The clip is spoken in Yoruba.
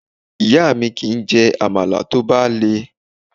Ìyá mi kì í jẹ Àmàlà tó bá le.